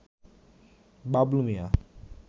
Bablu Mia